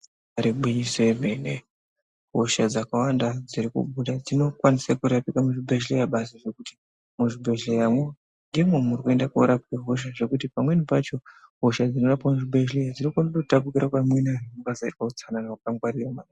Igwinyiso remene hosha dzakawanda dzinokwanisa kurapika muzvibhedhlera ngekuti muzvibhedhleramwo ndimo muri kuendwa korapwa hosha ndekuti pamweni pacho hosha dzinorapwa muzvibhedhlera dzinokwanisa kutapirwa pane amweni anhu kana ukasaita utsanana ukangwarira.